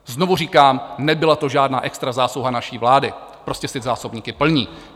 Znovu říkám, nebyla to žádná extra zásluha naší vlády, prostě si zásobníky plní.